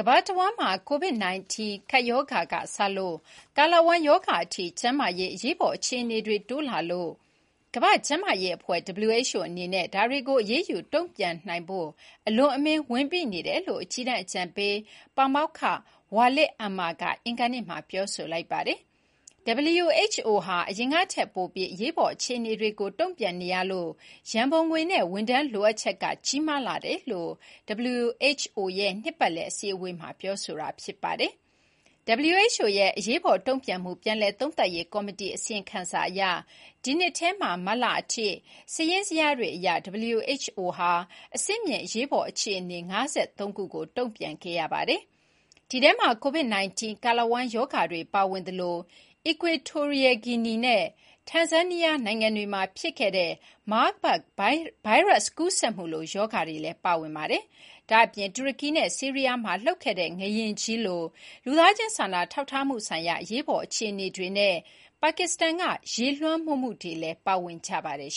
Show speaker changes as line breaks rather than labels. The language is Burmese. မ္ဘာတဝန်းမှာ ကိုဗစ်-၁၉ ကပ် ရောဂါက စလို့ ကာလဝမ်းရောဂါအထိ ကျန်းမာရေး အရေးပေါ် အခြေအနေတွေ တိုးလာနေတာကြောင့် ကမ္ဘာ့ကျန်းမာရေးအဖွဲ့ (WHO) အနေနဲ့ ဒါကို အရေးယူ တုံ့ပြန်နိုင်ရေး “အလွန်အမင်း ဝန်ပိ” နေတယ်လို့ အကြီးတန်းအကြံပေးပါမောက္ခ Walid Ammar က အင်္ဂါနေ့မှာ ပြောလိုက်ပါတယ်။ WHO ဟာ အရင်ကထက် ပိုပြီး အရေးပေါ် အခြေအနေတွေကို တုံ့ပြန်နေရတဲ့အတွက် ရံပုံငွေနဲ့ ဝန်ထမ်း လိုအပ်ချက်က ကြီးလာတယ်လို့ WHO ရဲ့ နှစ်ပတ်လည်အစည်းအဝေးမှာ ပြောလိုက်တာပါ။ WHO ရဲ့ အရေးပေါ်တုံ့ပြန်မှု ပြန်လည်သုံးသပ်ရေးကော်မတီ အစီရင်ခံစာအရ ဒီနှစ်ထဲမှာ မတ်လအထိ စာရင်းဇယားတွေအရ WHO ဟာ အဆင့်မြင့်အရေးပေါ်အခြေအနေ ၅၃ ခုကိုတုံ့ပြန်ခဲ့ရပါတယ်။ ဒီထဲမှာ COVID-19၊ ကာလဝမ်းရောဂါတွေပါဝင်သလို Equatorial Guinea နဲ့ Tanzania နိုင်ငံတွေမှာ ဖြစ်ခဲ့တဲ့ Marburg ဗိုင်းရပ်စ် ကူးစက်မှုလို ရောဂါတွေလည်း ပါဝင်ပါတယ်။ ဒါ့အပြင် တူရကီနဲ့ ဆီးရီးယားမှာ လှုပ်ခဲ့တဲ့ ငလျင်ကြီးလို လူသားချင်းစာနာထောက်ထားမှုဆိုင်ရာ အရေးပေါ်အခြေအနေတွေနဲ့ ပါကစ္စတန်က ရေလွှမ်းမိုးမှုတွေည်း ပါဝင်ပါတယ်